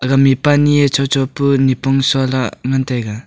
ga mihpa anyie shosho pa nipong shohlah ngan taiga.